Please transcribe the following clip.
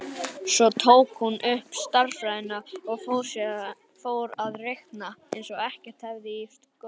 Svo tók hún upp stærðfræðina og fór að reikna eins og ekkert hefði í skorist.